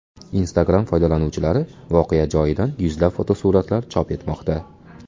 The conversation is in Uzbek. Instagram foydalanuvchilari voqea joyidan yuzlab fotosuratlar chop etmoqda.